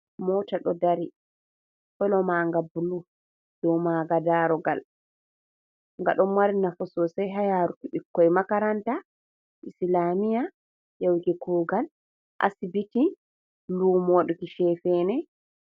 Mota ɗo dari kala manga bulu, dau manga darogal. Nga ɗo mari nafu sosai ha yaruki bukkon makaranta, islamiya, yahuki kugal asibiti, lumo waɗuki chefene.